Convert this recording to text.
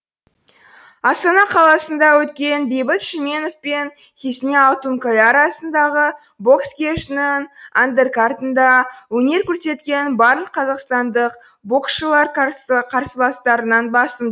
астана қаласында өткен бейбіт шүменов пен хизни алтункая арасындағы бокс кешінің андеркартында өнер көрсеткен барлық қазақстандық боксшылар қарсыластарынан басым